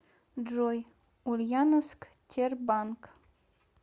джой ульяновск тербанк